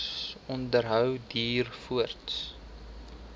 onderhou duur voort